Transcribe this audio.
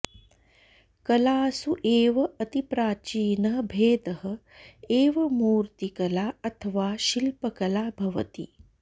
कलासु एव अतिप्राचीनः भेदः एव मूर्तिकला अथवा शिल्पकला भवति